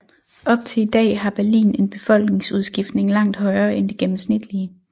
Op til i dag har Berlin en befolkningsudskiftning langt højere end det gennemsnitlige